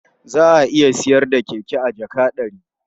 Za a iya sayar da keke a jaka ɗari.